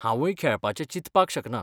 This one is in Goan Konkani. हांवुय खेळपाचें चिंतपाक शकना.